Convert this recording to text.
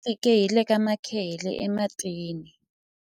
a va fike hi le ka makhehele ematini